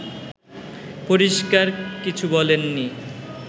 পরিষ্কার কিছু বলেননি